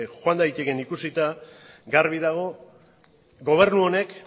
joan daitekeen ikusita garbi dago gobernu honek